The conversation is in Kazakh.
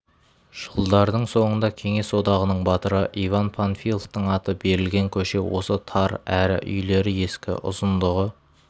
жылдардың соңында кеңес одағының батыры иван панфиловтың аты берілген көше осы тар әрі үйлері ескі ұзындығы